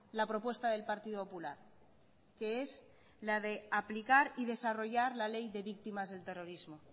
la propuesta del partido popular que es la de aplicar y desarrollar la ley de víctimas del terrorismo